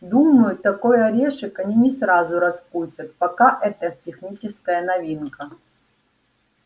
думаю такой орешек они не сразу раскусят пока это техническая новинка